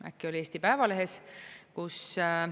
Äkki see oli Eesti Päevalehes?